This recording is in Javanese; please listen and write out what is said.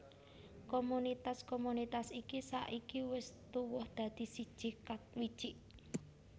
Komunitas komunitas iki saiki wis tuwuh dadi siji Katwijk